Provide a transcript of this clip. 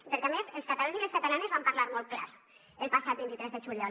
i perquè a més els catalans i les catalanes van parlar molt clar el passat vint tres de juliol